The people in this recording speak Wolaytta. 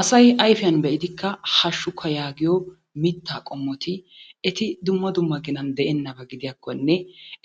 Asay ayfiyan be'idikka hashshukka yaagiyo mitta qommoti eti dumma dumma ginan de'enabba gidiyakkonne